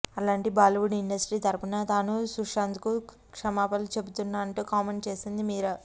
అలాంటి బాలీవుడ్ ఇండస్ట్రీ తరుపును తాను సుశాంత్కు క్షమాపణలు చెబుతున్నా అంటూ కామెంట్ చేసింది మీరా